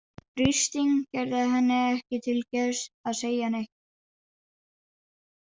Kristín gerði henni ekki til geðs að segja neitt.